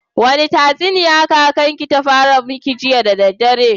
Wani tatsuniya kakan ki ta fara miki jiya da daddare?